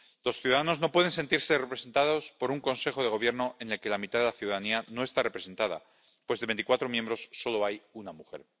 Los ciudadanos no pueden sentirse representados por un Consejo de Gobierno en el que la mitad de la ciudadanía no está representada, pues de veinticuatro miembros solo uno es mujer.